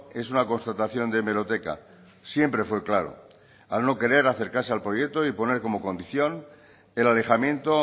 es una constatación de hemeroteca siempre fue claro al no querer acercarse al proyecto y poner como condición el alejamiento